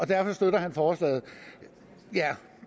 derfor støtter forslaget ja